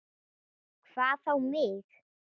Hvað þá mig.